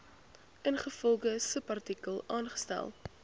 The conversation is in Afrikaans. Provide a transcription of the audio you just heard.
ingevolge subartikel aangestel